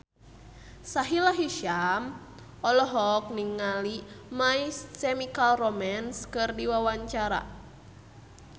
Sahila Hisyam olohok ningali My Chemical Romance keur diwawancara